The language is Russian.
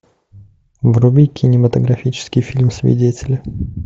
вруби кинематографический фильм свидетели